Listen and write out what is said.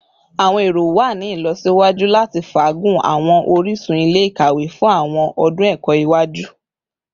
Awọn ero wa ni ilọsiwaju lati faagun awọn orisun ile-ikawe fun awọn ọdun ẹkọ iwaju